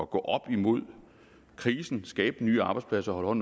gå op imod krisen skabe nye arbejdspladser og